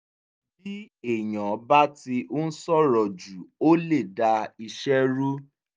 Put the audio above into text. bí èèyàn bá ti ń sọ̀rọ̀ jù ó lè dá iṣẹ́ rú